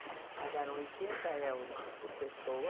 Pagaram oitenta euros por pessoa.